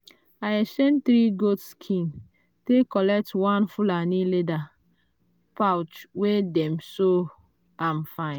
i exchange three goat skin take collect one fulani leather pouch wey dem sew am fine.